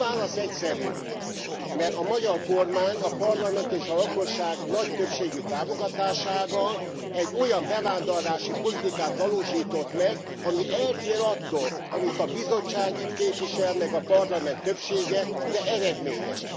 A válasz egyszerű mert a magyar kormány a parlament és a lakosság nagy többségű támogatásával egy olyan bevándorlási politikát valósított meg, ami eltér attól, amit a Bizottság itt képvisel, meg a Parlament többsége, de eredményes.